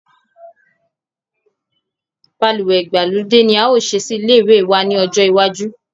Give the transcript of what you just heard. Balùwè ìgbàlódé ni a o ṣe sí ilé wa ní ọjọ́ iwájú